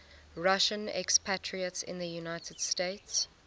russian expatriates in the united states